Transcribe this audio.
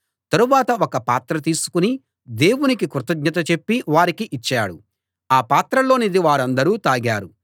తరువాత ఒక పాత్ర తీసుకుని దేవునికి కృతజ్ఞత చెప్పి వారికి ఇచ్చాడు ఆ పాత్రలోనిది వారందరూ తాగారు